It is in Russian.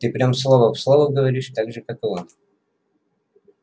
ты прям слово в слово говоришь так же как и он